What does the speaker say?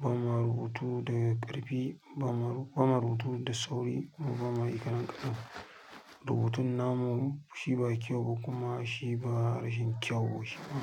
ba ma rubutu da ƙarfi, ba ma rubutu da sauri kuma ba ma yi garangaɗau rubutun namu shi ba kyau ba kuma shi ba rashin kyau shi ba.